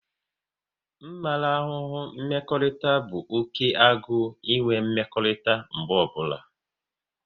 Mmarahu mmekọrịta bụ oké agụ enwe mmekọrịta mgbe ọbụla